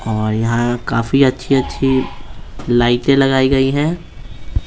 और यहाँ काफी अच्छी-अच्छी लाइटें लगाई गई ।